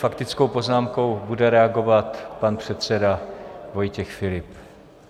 Faktickou poznámkou bude reagovat pan předseda Vojtěch Filip.